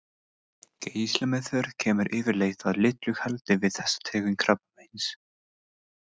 Geislameðferð kemur yfirleitt að litlu haldi við þessa tegund krabbameins.